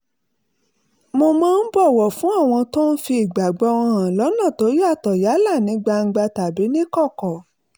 mo máa ń bọ̀wọ̀ fún àwọn tó ń fi ìgbàgbọ́ wọn hàn lọ́nà tó yàtọ̀ yálà ní gbangba tàbí níkọ̀kọ̀